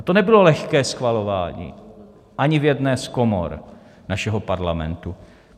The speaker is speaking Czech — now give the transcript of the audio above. A to nebylo lehké schvalování ani v jedné z komor našeho Parlamentu.